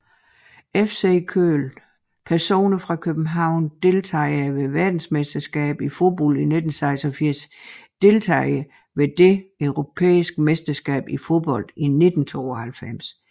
FC Köln Personer fra København Deltagere ved verdensmesterskabet i fodbold 1986 Deltagere ved det europæiske mesterskab i fodbold 1992